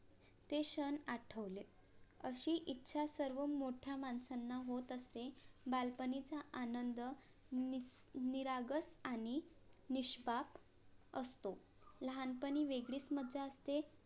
ते क्षण आठवले अशी इच्छा सर्व मोठ्या माणसांना होत असते बालपणीचा आनंद नि~ निरागस आणि निष्पाप असतो. लहानपणी वेगळीच मज्जा असते